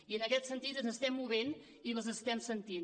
i en aquest sentit ens estem movent i les estem sentint